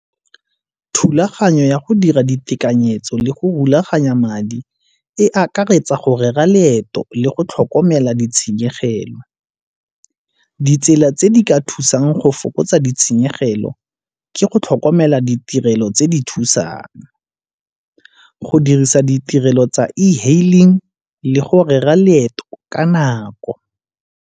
Thulaganyo ya go dira ditekanyetso le go rulaganya madi e akaretsa go rera leeto le go tlhokomela ditshenyegelo. Ditsela tse di ka thusang go fokotsa ditshenyegelo ke go tlhokomela ditirelo tse di thusang. Go dirisa ditirelo tsa e-hailing le gore rera leeto ka nako.